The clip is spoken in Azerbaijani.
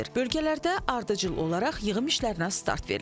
Bölgələrdə ardıcıl olaraq yığım işlərinə start verilib.